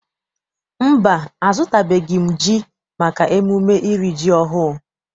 Mba, azụtabeghị m ji maka emume iri ji ọhụụ.